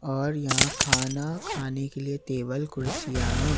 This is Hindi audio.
और यहां खाना खाने के लिए टेबल कुर्सियां हैं।